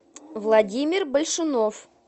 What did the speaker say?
владимир большунов